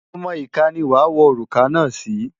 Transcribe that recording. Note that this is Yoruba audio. Ọmọ ìka ni wàá wọ òrùka náà sí.